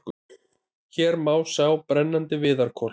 Hér má sjá brennandi viðarkol.